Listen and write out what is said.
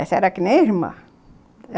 Essa era que nem irmã.